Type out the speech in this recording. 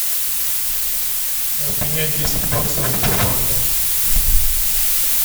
обменять десять баксов в сбербанке